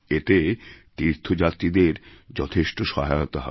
এতে তীর্থযাত্রীদের যথেষ্ট সহায়তা হবে